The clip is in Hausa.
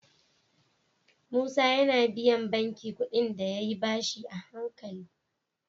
Musa yAna biyan banki kuɗin da yayi bashi a hankali